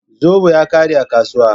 Zobo ya ƙare a kasuwa.